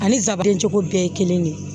Ani sabilen cogo bɛɛ ye kelen de ye